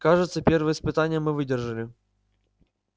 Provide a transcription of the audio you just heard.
кажется первое испытание мы выдержали